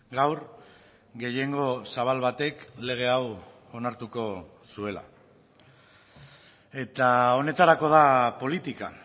gaur gehiengo zabal batek lege hau onartuko zuela eta honetarako da politika